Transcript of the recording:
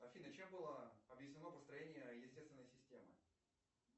афина чем было объяснено построение естественной системы